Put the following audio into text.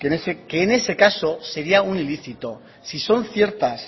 que en ese caso sería un ilícito si son ciertas